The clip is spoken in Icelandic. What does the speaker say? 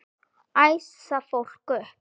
Æsa fólk upp?